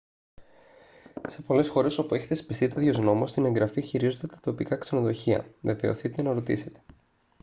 σε πολλές χώρες όπου έχει θεσπιστεί τέτοιος νόμος την εγγραφή χειρίζονται τα τοπικά ξενοδοχεία βεβαιωθείτε να ρωτήσετε